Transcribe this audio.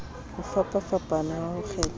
ho fapafapana ha ho kgethwa